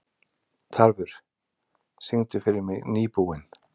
Tarfur, syngdu fyrir mig „Nýbúinn“.